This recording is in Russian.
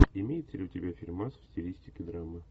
имеется ли у тебя фильмас в стилистике драмы